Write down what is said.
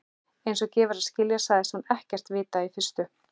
Einsog gefur að skilja sagðist hún ekkert vita í fyrstu.